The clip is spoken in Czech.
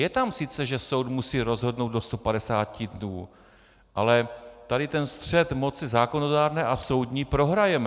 Je tam sice, že soud musí rozhodnout do 150 dnů, ale tady ten střet moci zákonodárné a soudní prohrajeme.